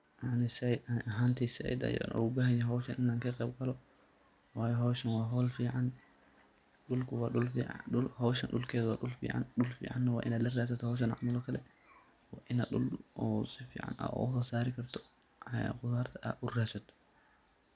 ani ahantey zaaid ayan ogu bahan yahay hoshan inan ka qeb galo wayo hoshan waa hol fican, dhulku wa dhul fican, hoshan dhulkeda wa dhul fican, dhul ficana waa inad la radsaato hoshan camal oo kale ina dhul oo si fican ogaso saari karto qudartad uraasato